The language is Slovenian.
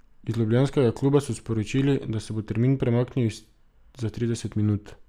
Iz ljubljanskega kluba so sporočili, da se bo termin premaknil za trideset minut.